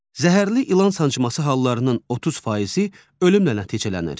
Zəhərli ilan sancması hallarının 30%-i ölümlə nəticələnir.